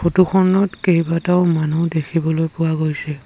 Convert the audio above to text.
Photo খনত কেইবাটাও মানুহ দেখিবলৈ পোৱা গৈছে।